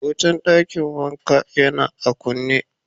Wutan dakin wanka ya na a kune.